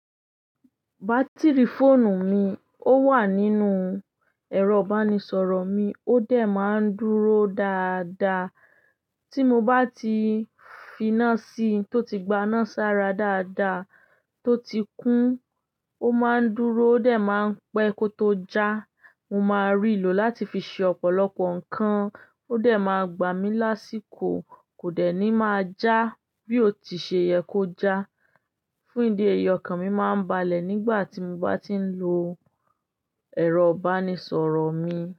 Batiri fóònù mi ó wà nínú ẹ̀rọ ìbánisọ̀rọ̀ mi, ó dẹ̀ ma ń dúró dáda. Tí mo bá ti fi iná sí, tó ti gba iná sára dáda, tó ti kún, ó ma ń dúró ó dẹ̀ ma pẹ́ kó tó já. Mo ma rí lò láti fi ṣe ọ̀pọ̀lọpọ̀ ǹkan, ó dẹ̀ ma gbà mi lásìkò, kò dẹ̀ ní ma já bí ó ti ṣe yẹ kó já. Fún ìdí èyí ọkàn mi ma ń balẹ̀ nígbà tí mo bá ti ń lo ẹ̀rọ bánisọ̀rọ̀ mi.